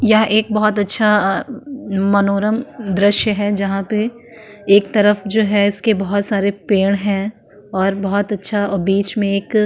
यह एक बहोत अच्छा अ-अ-अ मनोरम दृश्य है जहाँ पे एक तरफ जो है इसके बहोत सारे पेड़ हैं और बहोत अच्छा बीच में एक --